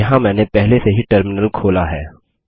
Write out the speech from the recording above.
यहाँ मैंने पहले से ही टर्मिनल खोला है